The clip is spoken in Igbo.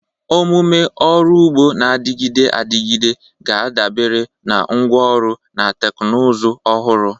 Omume ọrụ ugbo na-adịgide adịgide ga-adabere na ngwa ọrụ na teknụzụ ọhụrụ.